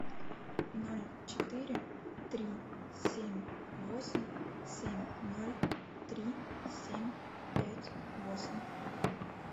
ноль четыре три семь восемь семь ноль три семь пять восемь